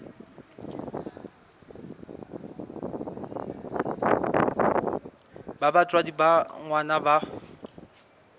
ha batswadi ba ngwana ba